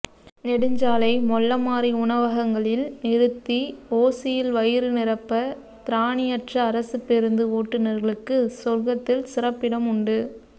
நெடுஞ்சாலை மொள்ளமாறி உணவகங்களில் நிறுத்தி ஓசியில் வயிறுநிரப்ப திராணியற்றஅரசுப்பேருந்து ஓட்டுனர்களுக்கு சொர்க்கத்தில் சிறப்பிடம் உண்டு